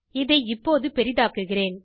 இதை இப்போது பெரிதாக்குகிறேன்